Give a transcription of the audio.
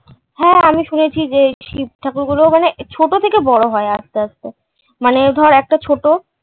হ্যাঁ আমি শুনেছি যে এই শিবঠাকুর গুলো মানে ছোট থেকে বড় হয় আসতে আসতে। মানে ধর, একটা ছোট,